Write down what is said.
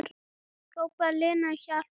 Hrópaði Lena á hjálp?